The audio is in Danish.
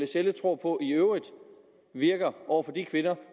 sjelle tror på i øvrigt virker over for de kvinder